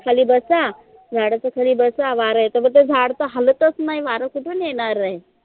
खाली बसा झाडाच्या खाली बसा वारा येते पन ते झाड तर हालतच नाही वार कुठून येणार आहे?